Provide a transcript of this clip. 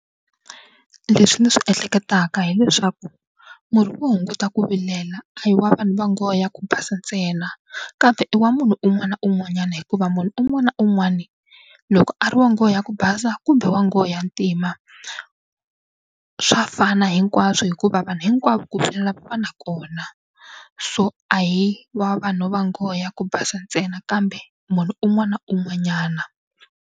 Leswi ni swi ehleketaka hileswaku murhi wo hunguta ku vilela a hi wa vanhu va nghohe ya ku basa ntsena kambe i wa munhu un'wana na un'wanyana hikuva munhu un'wana na un'wana loko a ri wa nghohe ya ku basa ku kumbe wa nghohe ya ntima swa fana hinkwaswo hikuva vanhu hinkwavo ku va va na kona so a hi wa vanhu va nghohe ya ku basa ntsena kambe munhu un'wana na un'wanyana.